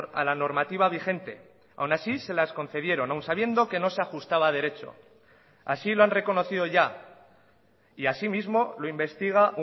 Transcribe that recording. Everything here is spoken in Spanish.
a la normativa vigente aun así se las concedieron aun sabiendo que no se ajustaba derecho así lo han reconocido ya y así mismo lo investiga